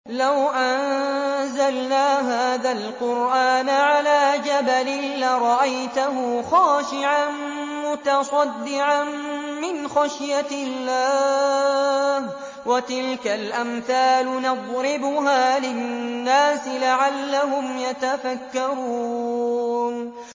لَوْ أَنزَلْنَا هَٰذَا الْقُرْآنَ عَلَىٰ جَبَلٍ لَّرَأَيْتَهُ خَاشِعًا مُّتَصَدِّعًا مِّنْ خَشْيَةِ اللَّهِ ۚ وَتِلْكَ الْأَمْثَالُ نَضْرِبُهَا لِلنَّاسِ لَعَلَّهُمْ يَتَفَكَّرُونَ